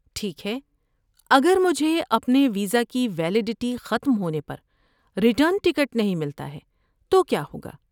ٹھیک ہے، اگر مجھے اپنے ویزا کی ویلیڈٹی ختم ہونے پر ریٹرن ٹکٹ نہیں ملتا ہے تو کیا ہوگا؟